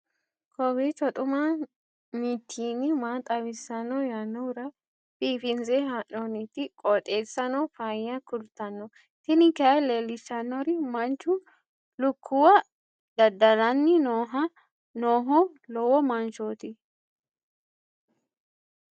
kowiicho xuma mtini maa xawissanno yaannohura biifinse haa'noonniti qooxeessano faayya kultanno tini kayi leellishshannori manchu lukkuwa dada'lanni nooho lowo manchooti